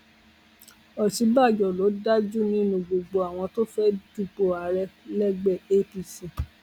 òsínbàjò ló dáa jù nínú gbogbo àwọn tó fẹẹ dúpọ ààrẹ lẹgbẹ apc